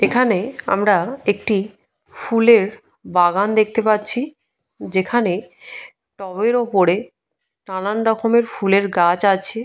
এখানে আমরা একটি ফুলের বাগান দেখতে পাচ্ছি। যেখানে টবের ওপরে নানান রকমের ফুলের গাছ আছে।